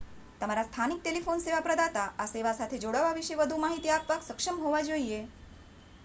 તમારા સ્થાનિક ટેલિફોન સેવા પ્રદાતા આ સેવા સાથે જોડાવા વિશે વધુ માહિતી આપવા સક્ષમ હોવા જોઈએ